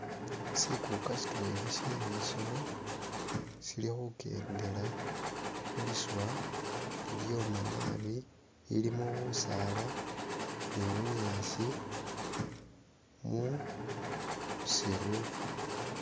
Sikuka sitwela shebisolo silikhukendela khuliswa lilyoma naabi lilimo busala ni bunyasi mu'siru